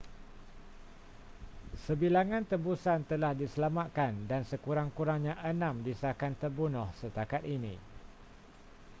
sebilangan tebusan telah diselamatkan dan sekurang-kurangnya enam disahkan terbunuh setakat ini